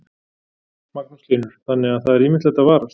Magnús Hlynur: Þannig að það er ýmislegt að varast?